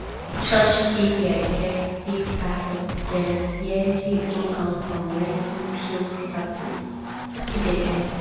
church area get big part of dem yearly income from renting pew property wey dem dey sell